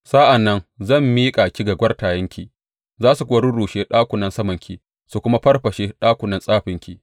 Sa’an nan zan miƙa ki ga kwartayenki, za su kuwa rurrushe ɗakunan samanki su kuma farfashe ɗakunan tsafinki.